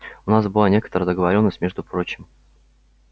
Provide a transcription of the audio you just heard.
у нас была некоторая договорённость между прочим